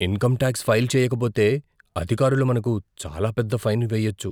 Income tax file చేయకపోతే, అధికారులు మనకు చాలా పెద్ద ఫైన్ వేయొచ్చు.